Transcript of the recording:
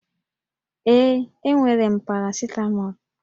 Ee, enwere m parasịtamọlụ